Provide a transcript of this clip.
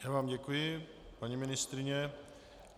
Já vám děkuji, paní ministryně.